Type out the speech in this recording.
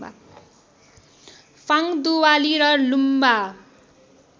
फाङ्दुवाली र लुम्बा